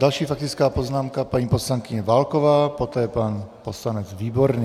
Další faktická poznámka, paní poslankyně Válková, poté pan poslanec Výborný.